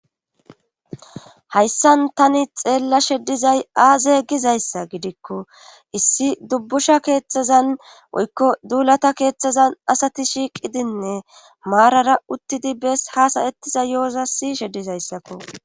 hayssan tani xeella sheddizay aazeeyggizayssa gidikko issi dubbusha keeththazan woykko duulata keeththazan asati shiiqidinne maarara uttidi bes hasayettiza yo7oza si shedizayssakko